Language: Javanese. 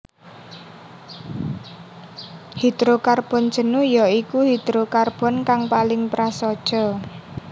Hidrokarbon jenuh ya iku hidrokarbon kang paling prasaja